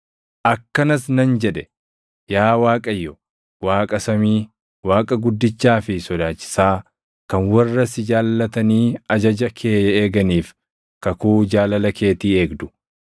Akkanas nan jedhe: “Yaa Waaqayyo Waaqa samii, Waaqa guddichaa fi sodaachisaa, kan warra si jaallatanii ajaja kee eeganiif kakuu jaalala keetii eegdu,